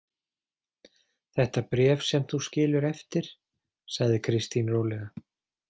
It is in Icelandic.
Þetta bréf sem þú skilur eftir, sagði Kristín rólega.